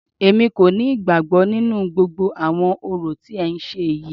Èmi kò ní ìgbàgbọ nínú gbogbo àwọn orò tí ẹ ń ṣe yìí.